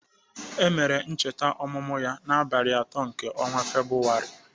Emere ncheta ọmụmụ ya n'abalị atọ nke ọnwa Febrụwarị